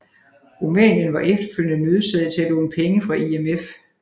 Rumænien var efterfølgende nødsaget til at låne penge fra IMF